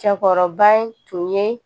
Cɛkɔrɔba in tun ye